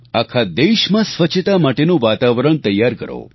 આખા દેશમાં સ્વચ્છતા માટેનું વાતાવરણ તૈયાર કરો